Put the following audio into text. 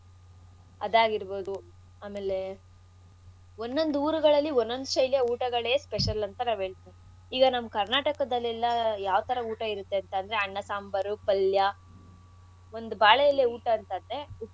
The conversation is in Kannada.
ಅದಾಗಿರ್ಬೋದು, ಆಮೇಲೆ ಒನ್ನೊಂದ್ ಊರ್ಗಳಲ್ಲಿ ಒಂದೊಂದು ಶೈಲಿಯ ಊಟಗಳೇ special ಅಂತ ನಾವ್ ಹೇಳ್ತಿವಿ ಈಗ ನಮ್ ಕರ್ನಾಟಕದಲ್ಲೆಲ್ಲಾ ಯಾವ್ಥರಾ ಊಟ ಇರತ್ತೆ ಅಂದ್ರೆ ಅನ್ನ ಸಾಂಬಾರು ಪಲ್ಯ ಒಂದು ಬಾಳೆಎಲೆ ಊಟ ಅಂತಂದ್ರೆ ಉಪ್ಪು.